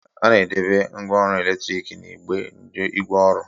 A na-edobe ngwa ọrụ eletrik n'ime igbe ngwaọrụ.